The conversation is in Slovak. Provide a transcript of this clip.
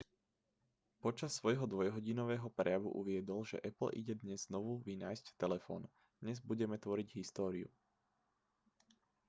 počas svojho dvojhodinového prejavu uviedol že apple ide dnes znovu vynájsť telefón dnes budeme tvoriť históriu